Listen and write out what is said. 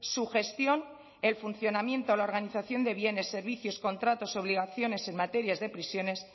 su gestión el funcionamiento la organización de bienes servicios contratos obligaciones en materia de prisiones